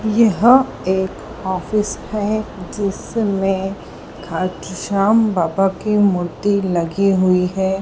यह एक ऑफिस है जिसमें श्याम बाबा की मूर्ति लगी हुई है।